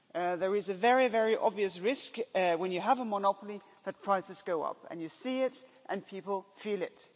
There is a very obvious risk when you have a monopoly that prices go up and you see it and people feel it.